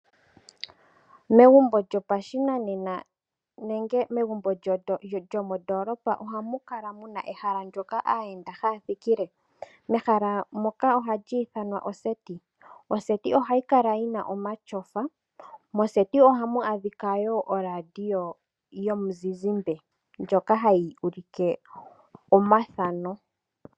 Megumbo lyopashimaliwa nenge Megumbo lyomondoolopa ohamu kala muna ehala ndjoka aayenda haya thikile . Ehala ndoka ohali ithanwa oseti. Oseti ohayi kala yina omatyofa . Moseti ohamu adhika woo o Radio yomuzizimbe ndjoka hayi ulike omathano.